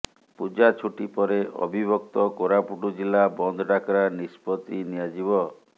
ପୂଜା ଛୁଟି ପରେ ଅବିଭକ୍ତ କୋରାପୁଟ ଜିଲ୍ଲା ବନ୍ଦ ଡାକରା ନିଷ୍ପତି ନିଆଯିବ